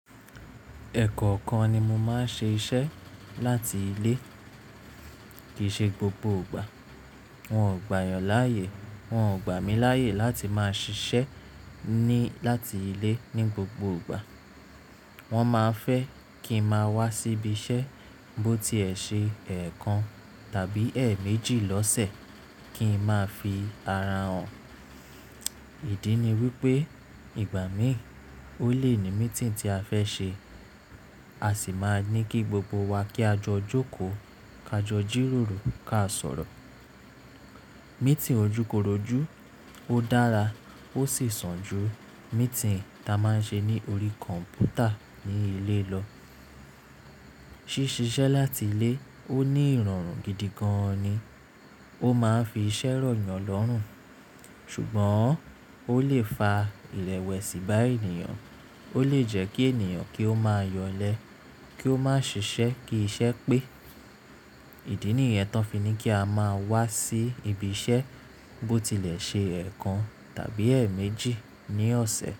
Ẹ̀kọ́kan ni mo máa ń ṣe iṣẹ́ láti ilé kì í ṣe gbogbo ìgbà. Wọn ò gbà yàn láyè, wọn ò gbà mí láyè láti máa ṣiṣẹ́ ní láti ilé ní gbogbo ìgbà. Wọn máa ń fẹ́ kí n máa wá síbi iṣẹ́, bó tiẹ̀ ṣe ẹ̀ẹ̀kan tàbí ẹ̀ẹ̀méjì lọ́sẹ̀ kí n máa fi ara hàn. Ìdí ni wípé ìgbà míì, ó lè ní meeting tí a fẹ́ ṣe. A sì máa ní kí gbogbo wa kí a jọ jókòó, ká jọ jíròrò, ká sọ̀rọ̀. Meeting ojúkorojú ó dára, ó sì sàn ju meeting tí a máa ń ṣe ní orí kọ̀m̀pútà ní ilé lọ. Ṣí ṣiṣẹ́ láti ilé ó ní ìrọ̀rùn gidi gan ni. Ó máa ń fi iṣẹ́ rọ̀yàn lọ́rùn. Ṣùgbọ́n ó lè fa ìrẹ̀wẹ̀sì bá ènìyàn. Ó lè jẹ́ kí ènìyàn kí ó máa yọlẹ, kí ó má ṣiṣẹ́ kí iṣẹ́ pé. Ìdí nìyẹn tán fi ní kí a máa wá sí ibi iṣẹ́ bó tilẹ̀ ṣe ẹ̀ẹ̀kan tàbí ẹ̀ẹ̀méjì ní ọ̀sẹ̀.